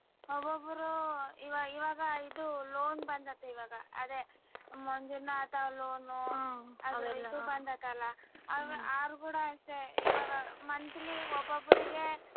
ಒಬ್ಬಬ್ಬರು ಇವಾ~ ಇವಾಗ ಇದು loan ಬಂದೈತೆ ಇವಾಗ ಅದೇ ಮಂಜುನಾಥ loan ಉ ಬಂದತಲ್ಲ ಅವ್ರ ಕೂಡ ಅಷ್ಟೆ ಇವಾಗ monthly ಒಬ್ಬಬ್ಬರಿಗೆ